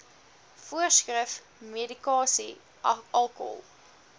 voorskrif medikasie alkohol